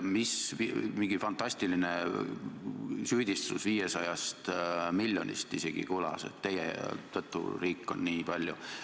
Kõlas isegi mingi fantastiline süüdistus 500 miljonist, justkui meie tõttu oleks riik nii palju kaotanud.